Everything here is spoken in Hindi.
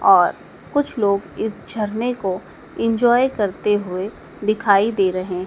और कुछ लोग इस झरने को एन्जॉय करते हुए दिखाइ दे रहें--